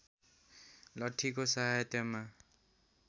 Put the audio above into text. लठ्ठीको सहायतामा